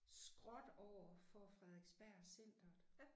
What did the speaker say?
Skråt overfor Frederiksberg Centret